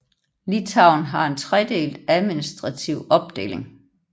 Litauen har en tredelt administrative opdeling